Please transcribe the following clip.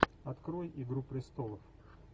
открой игру престолов